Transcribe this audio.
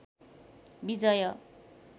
विजय